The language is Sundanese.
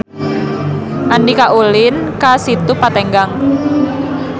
Andika ulin ka Situ Patenggang